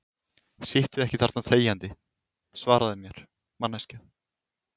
Sittu ekki þarna þegjandi, svaraðu mér, manneskja.